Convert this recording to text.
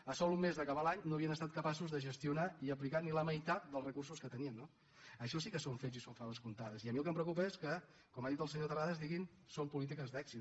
a sols un mes d’acabar l’any no havien estat capaços de gestionar i aplicar ni la meitat dels recursos que tenien no això sí que són fets i són faves comptades i a mi el que em preocupa és que com ha dit el senyor terrades diguin que són polítiques d’èxit